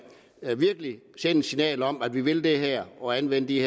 sende et signal om at vi vil det her og anvende det